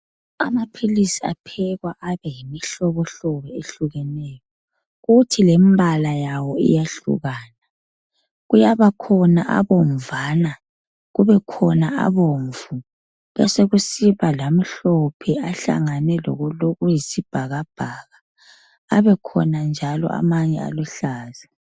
Amaphilisi aphekwa abeyimihlobohlobo ehlukeneyo kuthi lembala yawo iyahlukana. Kuyabakhona abomvana ,kubekhona abomvu ,besekusiba lamhlophe ahlangane lokulokuyisibhakabhaka ,abekhona njalo amanye aluhlaza.